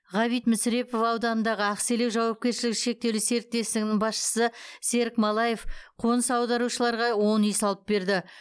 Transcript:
ғ мүсірепов ауданындағы ақселеу жауапкершілігі шектеулі серіктестігінің басшысы серік малаев қоныс аударушыларға он үй салып берді